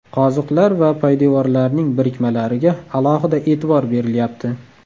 Qoziqlar va poydevorlarning birikmalariga alohida e’tibor berilyapti.